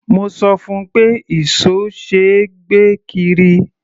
Mo sọ fún un pé ìṣó ṣe é gbé kiri.